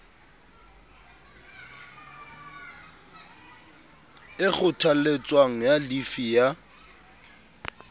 e kgothaletswang ya llifi ya